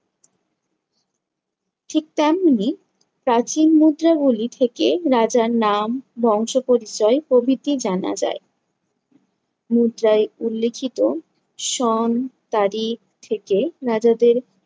ঠিক তেমনই প্রাচীন মুদ্রা গুলি থেকে রাজার নাম, বংশপরিচয় প্রভৃতি জানা যায়। মুদ্রায় উল্লেখিত সন তারিখ থেকে রাজাদের